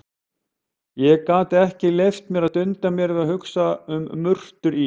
Ég gat ekki leyft mér að dunda mér við að hugsa um murtur í